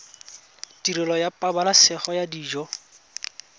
tirelo ya pabalesego ya dijo